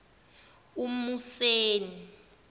umuseni